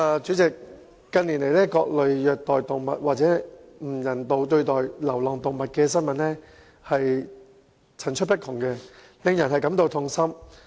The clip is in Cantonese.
主席，近年，各類虐待動物或不人道對待流浪動物的新聞層出不窮，令人感到痛心。